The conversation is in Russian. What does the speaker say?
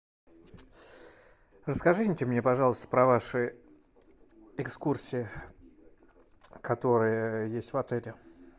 расскажите мне пожалуйста про ваши экскурсии которые есть в отеле